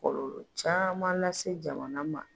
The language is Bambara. Kɔlɔlɔ caman lase jamana ma.